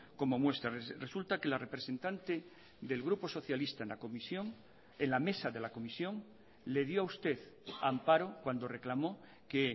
como muestra resulta que la representante del grupo socialista en la comisión en la mesa de la comisión le dio a usted amparo cuando reclamo que